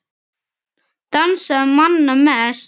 Dansaði manna mest.